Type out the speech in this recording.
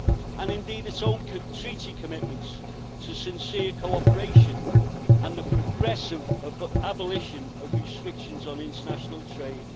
And indeed its own Treaty commitments to sincere cooperation and the progressive abolition of restrictions on international trade.